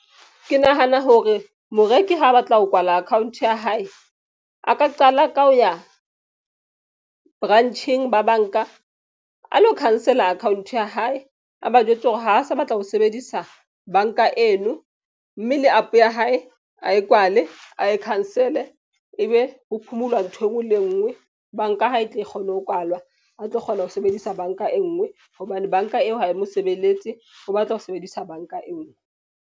Ke nahana hore moreki ha a batla ho kwala account ya hae, a ka qala ka ho ya branch-eng ba bank-a a lo cancel-a account ya hae. A ba jwetse hore ha a sa batla ho sebedisa bank-a eno mme le app ya hae a e kwale. A e cancel-e ebe ho phomulwa nthwe e nngwe le e nngwe. Bank-a ha e tle e kgone ho kwalwa, a tlo kgona ho sebedisa bank-a e nngwe. Hobane bank-a eo ha e mo sebeletse. O batla ho sebedisa bank-a e nngwe.